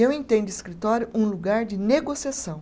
Eu entendo escritório um lugar de negociação.